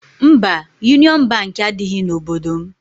Mba, Yunịọn Bankị adịghị n'obodo m.